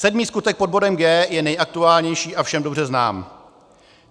Sedmý skutek - pod bodem G - je nejaktuálnější a všem dobře známý.